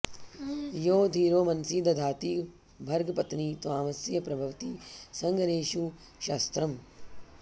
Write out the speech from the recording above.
यो धीरो मनसि दधाति भर्गपत्नि त्वामस्य प्रभवति सङ्गरेषु शस्त्रम्